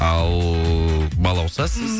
ал балауса сіз